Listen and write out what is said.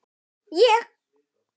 Ég?!